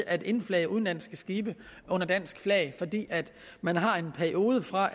at indflage udenlandske skibe under dansk flag fordi man har en periode fra